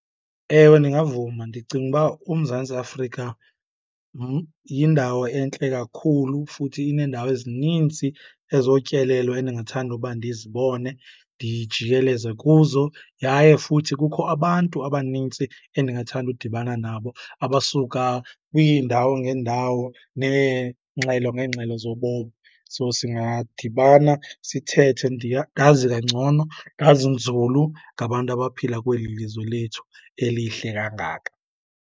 Ewe, ndingavuma. Ndicinga uba uMzantsi Afrika yindawo entle kakhulu futhi ineendawo ezinintsi ezotyelelo endingathanda uba ndizibone, ndijikeleze kuzo. Yaye futhi kukho abantu abanintsi endingathanda udibana nabo abasuka kwiindawo ngeendawo neengxelo ngeengxelo zobomi. So, singadibana sithethe, ndazi kangcono, ndazi nzulu ngabantu abaphila kweli lizwe lethu elihle kangaka.